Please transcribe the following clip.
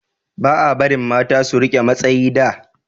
ba a barin mata su rike matsayi da